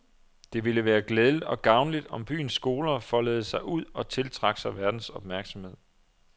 Det ville være glædeligt og gavnligt om byens skoler foldede sig ud og tiltrak sig verdens opmærksomhed.